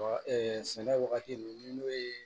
sɛnɛ wagati ninnu n'o ye